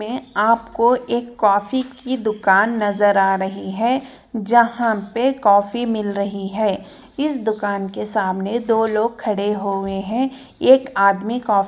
मे आपको एक कॉफी की दुकान नजर आ रही है जहां पे कॉफी मिल रही है इस दुकान के सामने दो लोग खड़े हुए है एक आदमी--